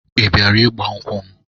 Ị bịara ịgbankwụ m?